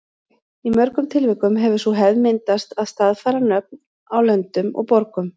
Í mörgum tilvikum hefur sú hefð myndast að staðfæra nöfn á löndum og borgum.